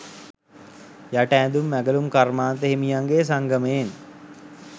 යට ඇඳුම් ඇඟලුම් කර්මාන්ත හිමියන්ගෙ සංගමයෙන්.